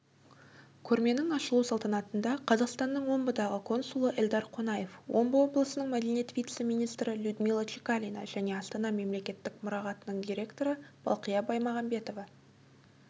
көрменің ашылу салтанатында қазақстанның омбыдағы консулы эльдар қонаев омбы облысының мәдениет вице-министрі людмила чекалина және астана мемлекеттік мұрағатының директоры балқия баймағанбетова